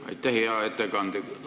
Aitäh, hea ettekandja!